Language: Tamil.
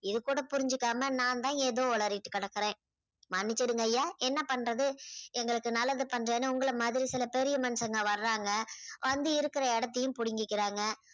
இது கூட புரிஞ்சுக்காம நான் தான் ஏதோ உளறிட்டு கிடக்குறேன். மன்னிச்சுடுங்க ஐயா என்ன பண்றது எங்களுக்கு நல்லது பண்றேன்னு உங்களை மாதிரி சில பெரிய மனுஷங்க வர்றாங்க வந்து இருக்குற இடத்தையும் புடிங்கிக்குறாங்க.